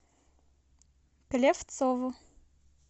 клевцову